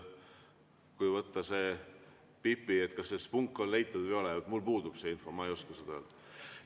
Kui võtta Pipi näide, et kas see spunk on leitud või ei ole, siis mul puudub see info, ma ei oska seda öelda.